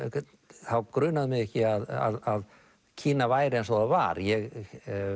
þá grunaði mig ekki að Kína væri eins og það var ég